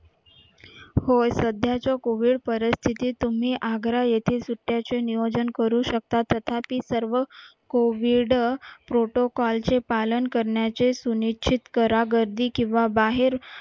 पण सध्याच्या covid परिस्थितीत तुम्ही आग्रा येथे सुट्ट्याचे नियोजन करू शकता त्याच्यातील सर्व covid protocol चे पालन करण्याचे किंवा बाहेर